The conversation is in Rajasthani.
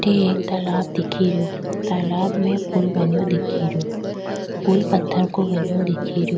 अठ एक तालाब दिख रो तालाब में पूल बनिया दिख रो पूल पत्थर को बना दिख रो।